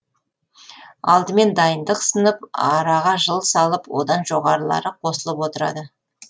алдымен дайындық сынып араға жыл салып одан жоғарылары қосылып отырады